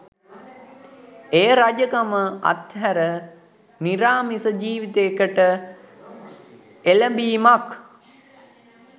එය රජකම අත්හැර නිරාමිස ජීවිතයකට එළඹීමක්